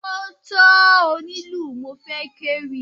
Ó tó onílù mo fẹ́ kéwì.